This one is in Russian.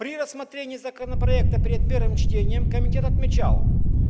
при рассмотрении законопроекта перед первым чтением комитет отмечал